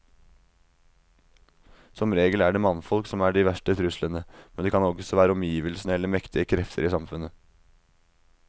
Som regel er det mannfolk som er de verste truslene, men det kan også være omgivelsene eller mektige krefter i samfunnet.